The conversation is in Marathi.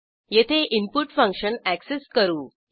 येथे इनपुट फंक्शन अॅक्सेस करू